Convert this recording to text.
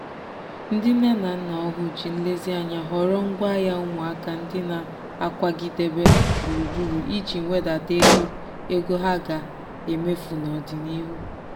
ndị nne na nna ọhụụ ji nlezianya họrọ ngwaahịa ụmụaka ndị na-akwagidebe gburugburu iji wedata ego ego ha ga-emefu n'ọdịnihu.